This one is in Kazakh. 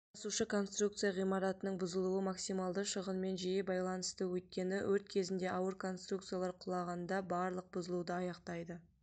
тасушы конструкция ғимаратының бұзылуы максималды шығынымен жиі байланысты өйткені өрт кезінде ауыр конструкциялар құлағанда барлық бұзылуды аяқтайды